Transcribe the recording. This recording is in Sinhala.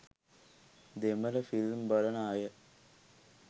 දෙමළ ෆිල්ම් බලන අය